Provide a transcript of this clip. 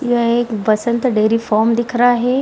यह एक Basant dairy farm दिख रहा है।